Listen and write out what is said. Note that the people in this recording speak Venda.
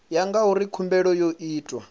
ya ngauri khumbelo yo itwa